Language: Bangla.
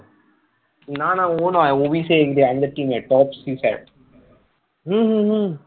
হম হম হম